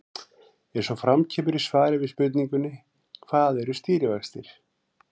Eins og kemur fram í svari við spurningunni Hvað eru stýrivextir?